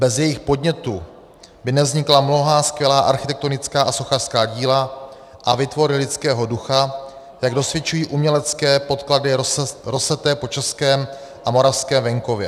Bez jejich podnětu by nevznikla mnohá skvělá architektonická a sochařská díla a výtvory lidského ducha, jak dosvědčují umělecké poklady rozeseté po českém a moravském venkově.